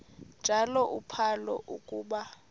njalo uphalo akuba